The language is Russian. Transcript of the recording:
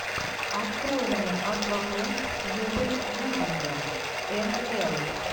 открой мне аквамен с кьюбой гудингом мл